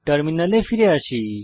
টার্মিনালে ফিরে আসি